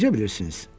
Necə bilirsiniz?